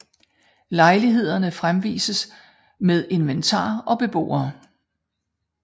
Lejlighederne fremvises med inventar og beboere